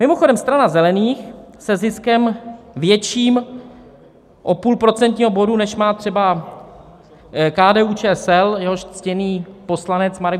Mimochodem, Strana zelených se ziskem větším o půl procentního bodu, než má třeba KDU-ČSL, jehož ctěný poslanec Marek